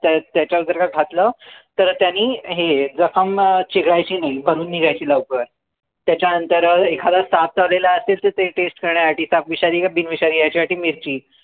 त त्याच्यावर जर का घातलं तर त्यांनी हेए जखम चिघळायची नाही भरून निघायची लवकर त्याच्या नंतर एखादा साप चावलेला असेल त ते test करण्यासाठी साप विषारी आहे की बिन विषारी आहे याच्यासाठी मिरची